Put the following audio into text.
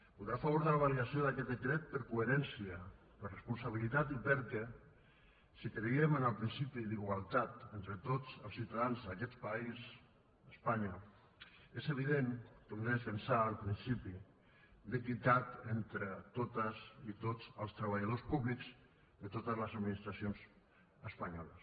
votarà a favor de la validació d’aquest decret per coherència per responsabilitat i perquè si creiem en el principi d’igualtat entre tots els ciutadans d’aquest país espanya és evident que hem de defensar el principi d’equitat entre totes i tots els treballadors públics de totes les administracions espanyoles